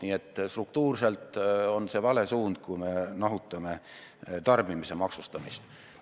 Nii et struktuurselt on see vale suund, kui me nahutame tarbimise maksustamist.